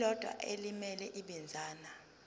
elilodwa elimele ibinzana